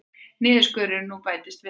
Niðurskurðurinn nú bætist við það